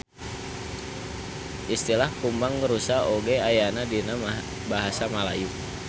Istilah kumbang rusa oge ayana dina basa Malayu.